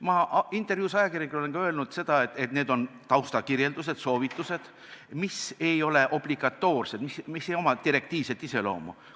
Ma olen ajakirjanikele antud intervjuus öelnud, et need on taustakirjeldused ja soovitused, mis ei ole obligatoorsed ega oma direktiivset iseloomu.